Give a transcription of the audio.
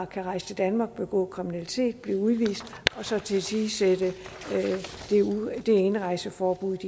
kan rejse til danmark og begå kriminalitet blive udvist og så tilsidesætte indrejseforbuddet